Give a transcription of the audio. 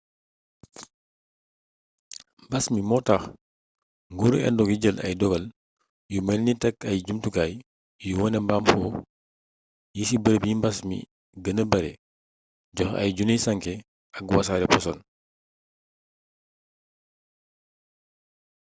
mbas mi moo tax nguuru indo gi jël y dogal yu melni tekk ay jumtukaay yuy wone maam xuux yi ci bërëb yi mbas mi gëna bare joxe ay junniy sànke ak wasaare posan